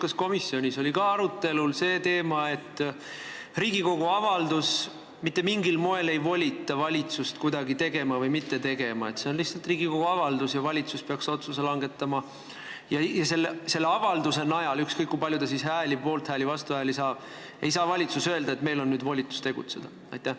Kas komisjonis oli arutelu all ka see teema, et Riigikogu avaldus mitte mingil moel ei volita valitsust midagi tegema või mitte tegema, see on lihtsalt Riigikogu avaldus ja valitsus peaks otsuse langetama ning selle avalduse najal, ükskõik kui palju see poolthääli ja vastuhääli saab, ei saa valitsus öelda, et meil on nüüd volitus tegutseda?